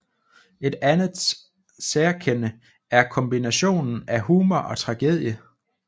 Et andet særkende er kombinationen af humor og tragedie